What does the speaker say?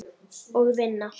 Og vinna.